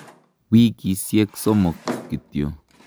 Wikisyek somok kityo.